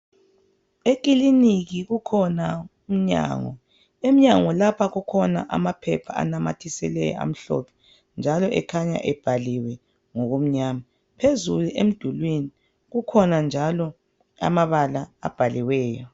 Ekiliniki kukhona umnyango emnyango lapha kukhona amaphepha anamatheseliweyo amhlophe njalo akhanya ebhaliwe ngokumnyama phezulu emdulwini kukhona njalo amabala abhaliweyo.